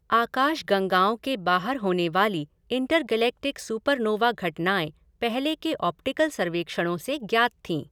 आकाशगंगाओं के बाहर होने वाली इंटरगैलेक्टिक सुपरनोवा घएटनाएं पहले के ऑप्टिकल सर्वेक्षणों से ज्ञात थी।